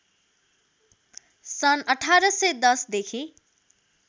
सन् १८१० देखि